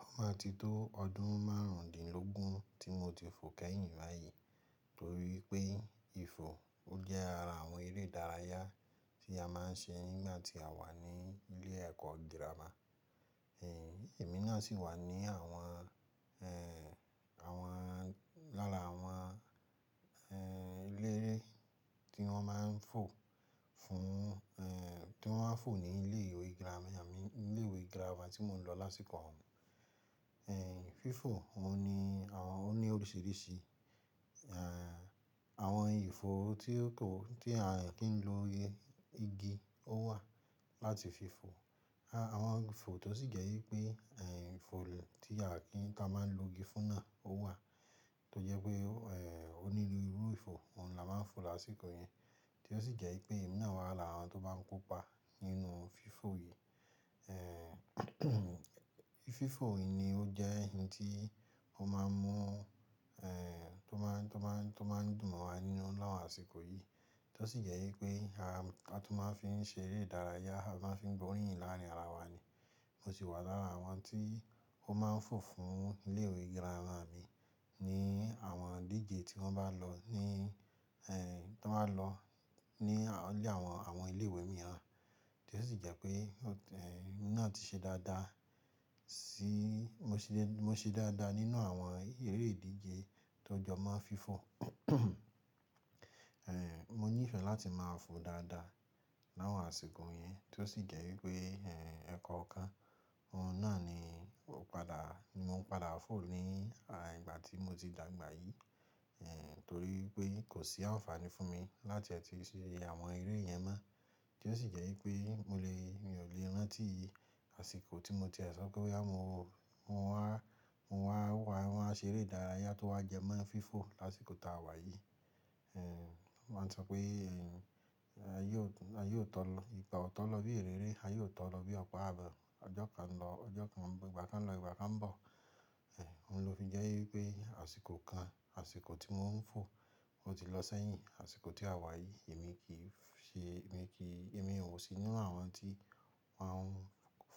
Ó máa ti tó ọdún márùndínlógún tí mo ti fò kẹ́yìn báyìí, torí pé ìfò ó jẹ́ ara àwọn eré ìdárayá tí a máa ń ṣe nígbà tí àwa ní ilé ẹ̀kọ́ Gírámà. Ẹ̀mi náà sì wà ní àwọn, ẹ́ẹ́, àwọn, lára àwọn, ẹ́ẹ́, eléréé tí wọ́n máa ń fò fún, ẹ́ẹ́, tí wọ́n máa ń fò ní ilé gírámà mi, ilé ìwé gírámà tí mò ń lọ lásìkò ọ̀ún. Ẹ̀, fífò òun ni àwọn, ó ní oríṣiríṣi, ẹ́ẹ́, àwọn ìfò tí ó tó tí a kì í lò igi ó wà láti fi fò. Àwọn ìfò tó sì jẹ́ wípé, ẹ́ẹ́, ìfò tí a kì í, tí a máa ń lo igi fún náà ó wà, tó jẹ́ pé, ẹ́ẹ́, ó ní irú ìfò, òun làá máa ń fò lásìkò yẹn. Tí ó sì jẹ́ wípé èmi náà wà lára àwọn tó bá ń kópa nínú fífò yìí. Ẹ́ẹ́, fífọ yìí ni ó jẹ́ ohun tí ó máa ń mú, ẹ́ẹ́, tó máa ń, tó máa ń, tó máa ń dùn wa nínú láwọn àsìkò yìí. Tí ó sì jẹ́ wípé a, a tó máa ń fi ń ṣe eré ìdárayá, a máa ń fi ń gbóríyìn láàárín ara wa ni. Mo sì wà lára àwọn tí ó máa ń fò fún ilé ìwé gírámà mi ní àwọn ìdíje tí wọ́n bá lọ ní, ẹ́ẹ́, tí wọ́n lọ ní àwọn ilé ìwé mìíràn. Tí ó sì jẹ́ pé, ẹ́ẹ́, èmi náà ti ṣe dáadáa sí, mo ṣe, mo ṣe dáadáa nínú àwọn eré ìdíje tó jọ máa ń fífò. Ẹ́ẹ́, mo ní ìfẹ́ láti máa fò dáadáa láwọn àsìkò yẹn, tí ó sì jẹ́ wípé, ẹ́ẹ́, ẹ̀kọ́ kan, òun náà ni ó padà, ni mò ń padà fò ní ìgbà tí mo ti dàgbà yìí. Ẹ̀, torí pé kò sí àǹfààní fún mi láti ẹ̀ ti ṣe àwọn eré yẹn mọ́. Tí ó sì jẹ́ wípé mo lè, mi ò lè rántí àsìkò tí mo ti sọ pé wá, mo, mo wá, mo wà wá, ṣe eré ìdárayá tó wá jẹ mọ́ fífò lásìkò táa wà yìí. Ẹ̀, wọ́n máa ń sọ pé, ẹ́ẹ́, a yóò tọ, a yóò tọ̀ lọ, ìpà ọ̀tọ̀ lọ bí eré ré, a yóò tọ̀ lọ bí ọ̀pá abọ́. Ọjọ́ kan lọ, ọjọ́ kan, ìgbà kan lọ, ìgbà kan ń bọ̀. Ẹ̀, òhun ló fi jẹ́ wípé àsìkò kan, àsìkò tí mò ń fò ó ti lọ sẹ́yìn. Àsìkò tí a wà yìí, èmi kì í ṣe, èmi kì í, èmi ò sí nínú àwọn tí wọ́n ń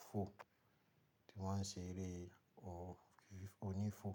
fò, tí wọ́n ń ṣe eré ònífò.